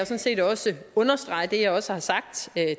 set også understrege det jeg også har sagt